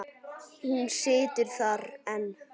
Hún situr þar enn.